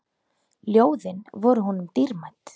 Ljóðin voru honum dýrmæt.